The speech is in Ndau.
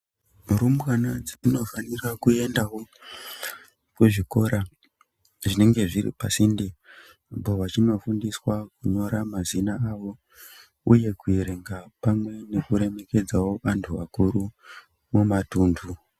Rumbwana dzinofanira kuendawo kuzvikora zvinenge zviri pasinte apo vachinofundiswa kunyora mazina awo, uye kuverenga kuremekedza antu akuru mumatundu.